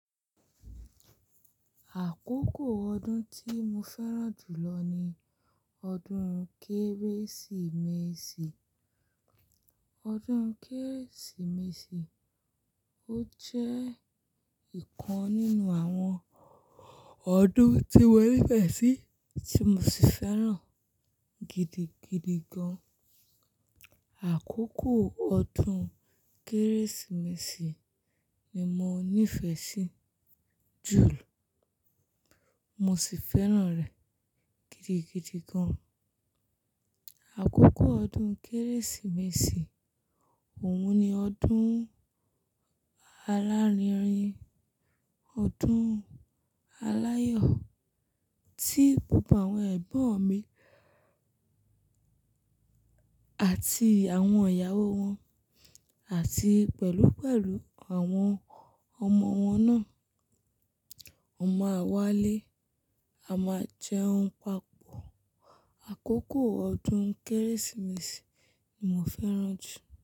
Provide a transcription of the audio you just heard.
Àkókò ọdún tí mo fẹ́ràn jù lọ ni ọdún Kérésìmesì. Ọdún Kérésìmesì ó jẹ́ ìkan nínú àwọn ọdún tí mo nífẹ̀ẹ́ sí tí mo sì fẹ́ràn gidigidi gan. Àkókò ọdún Kérésìmesì ni mo nífẹ̀ẹ́ sí jùlọ. Mo sì fẹ́ràn rẹ̀ gidigidi gan. Àkókò ọdún Kérésìmesì, òun ni ọdún alárinrin, ọdún aláyọ̀ tí gbogbo àwọn ẹ̀gbọ́n mi àti àwọn ìyàwó wọn àti pẹ̀lú pẹ̀lú àwọn ọmọ wọn náà, won mà'wálé, a máa jẹun papọ̀. Àkókò ọdún Kérésìmesì ni mo fẹ́ràn jù.